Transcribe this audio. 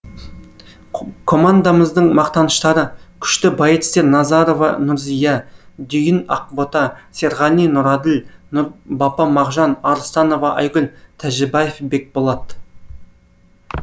командамыздың мақтаныштары күшті боецтер назарова нұрзия дүйін ақбота серғали нұраділ нұрбапа мағжан арыстанова айгүл тәжібаев бекболат